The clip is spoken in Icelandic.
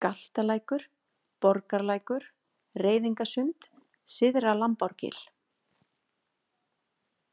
Galtalækur, Borgarlækur, Reiðingasund, Syðra-Lambárgil